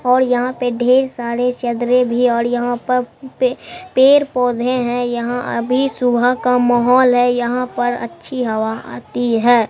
और यहां पे ढेर सारे भी और यहां पर पे पेड़ पौधे हैं यहां अभी सुबह का माहौल है यहां पर अच्छी हवा आती है।